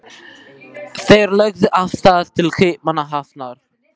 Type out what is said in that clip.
Þeir lögðu af stað til Kaupmannahafnar.